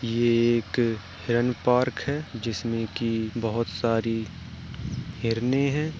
ये एक हिरन पार्क है जिसमें की बहोत सारी हिरनें हैं।